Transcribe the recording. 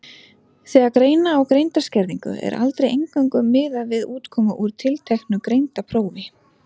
Þegar greina á greindarskerðingu er aldrei eingöngu miðað við útkomu úr tilteknu greindarprófi.